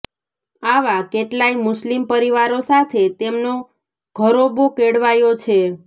આવા કેટલાય મુસ્લિમ પરિવારો સાથે તેમનો ઘરોબો કેળવાયો છે